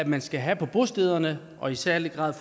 man skal have på bostæderne og i særlig grad